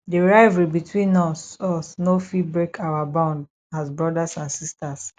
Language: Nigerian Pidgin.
di rivalry between us us no fit break our bond as brothers and sisters